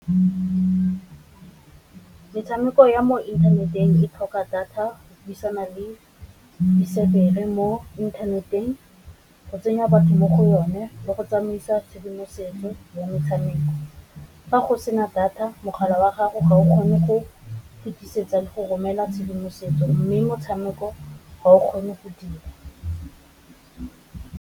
Metshameko ya mo inthaneteng e tlhoka data go buisana le mo inthaneteng, go tsenya batho mo go one le go tsamaisa tshedimosetso ya metshameko. Fa go sena data mogala wa gago ga o kgone go fetisetsa le go romela tshedimosetso, mme motshameko wa o kgone go dira.